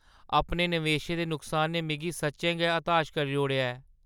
अपने नवेश दे नुकसान ने मिगी सच्चें गै हताश करी ओड़ेआ ऐ।